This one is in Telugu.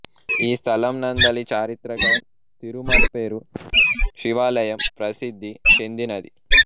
ఈ స్థలం నందలి చారిత్రక తిరుమర్పేరు శివాలయం ప్రసిద్ధి చెందినది